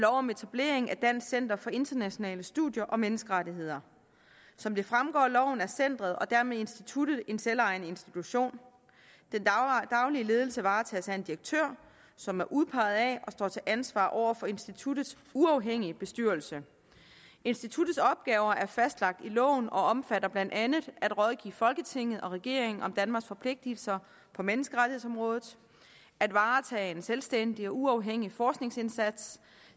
om etablering af dansk center for internationale studier og menneskerettigheder som det fremgår af loven er centeret og dermed instituttet en selvejende institution den daglige ledelse varetages af en direktør som er udpeget af og står til ansvar over for instituttets uafhængige bestyrelse instituttets opgaver er fastlagt i loven og omfatter blandt andet at rådgive folketinget og regeringen om danmarks forpligtelser på menneskerettighedsområdet at varetage en selvstændig og uafhængig forskningsindsats